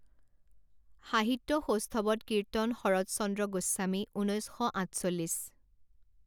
সাহিত্য সৌষ্ঠৱত কীৰ্ত্তন শৰৎচন্দ্ৰ গোস্বামী ঊনৈছ শ আঠচল্লিছ